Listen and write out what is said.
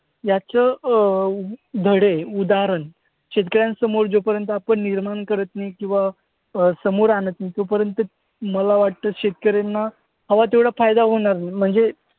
याचं अं धडे, उदाहरण शेतकऱ्यांसमोर जोपर्यंत आपण निर्माण करत नाही किंवा अं समोर आणत नाही तोपर्यंत मला वाटतं शेतकऱ्यांना हवा तेवढा फायदा होणार नाही. म्हणजे